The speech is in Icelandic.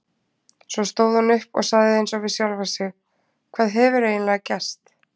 Svo stóð hún upp og sagði eins og við sjálfa sig: Hvað hefur eiginlega gerst?